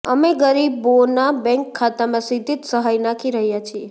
અમે ગરીબોનાં બૅન્ક ખાતાંમાં સીધી જ સહાય નાખી રહ્યાં છીએ